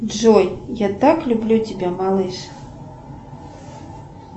джой я так люблю тебя малыш